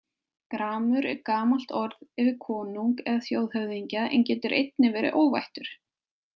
Gramur er gamalt orð yfir konung eða þjóðhöfðingja en getur einnig verið óvættur.